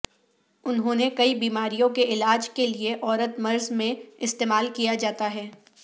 انہوں نے کئی بیماریوں کے علاج کے لیے عورت مرض میں استعمال کیا جاتا ہے